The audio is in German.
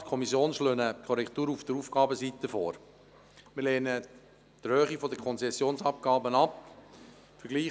Sowohl Regierungsrat als auch Kommission schlagen eine Korrektur auf der Ausgabenseite vor und lehnen die Erhöhung der Konzessionsabgaben ab.